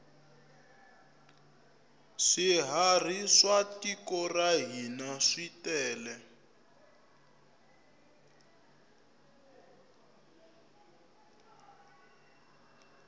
swiharhi swa tiko ra hina switele